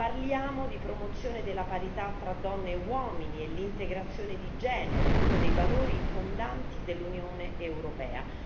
parliamo di promozione tra donne e uomini e integrazione di genere, uno dei valori fondanti dell'Unione europea